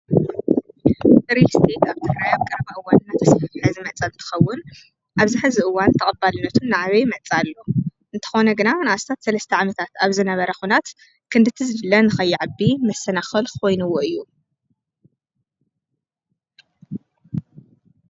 ሪስጢድ ኣብታራይ ኣብ ገረበእወን ናተስሕሕሐ ዝመጸል ትኸውን ኣብዚ ሕዝእዋን ተቐባልነቱን ነዓበ ይመጻሉ እንተኾነ ግና ንእሳታት ሠለስተዕምታት ኣብዝ ነበረኹናት ኽንድ ትዝድለን ኸይዕቢ ምሰነኸልኽይኑዎ እዩ።